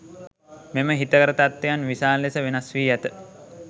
මෙම හිතකර තත්වයන් විශාල ලෙස වෙනස් වී ඇත.